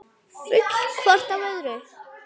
Full hvort af öðru.